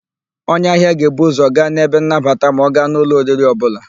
Onye ahịa ga-ebu ụ́zọ̀ gaa n'ebe nnabata ma ọ gaa n' ụlọ oriri ọbụla.